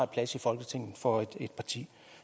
plads i folketinget for et parti